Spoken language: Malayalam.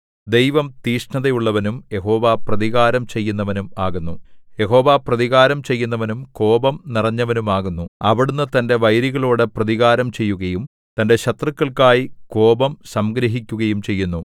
ദൈവം തീക്ഷ്ണതയുള്ളവനും യഹോവ പ്രതികാരം ചെയ്യുന്നവനും ആകുന്നു യഹോവ പ്രതികാരം ചെയ്യുന്നവനും കോപം നിറഞ്ഞവനുമാകുന്നു അവിടുന്ന് തന്റെ വൈരികളോട് പ്രതികാരം ചെയ്യുകയും തന്റെ ശത്രുക്കൾക്കായി കോപം സംഗ്രഹിക്കുകയും ചെയ്യുന്നു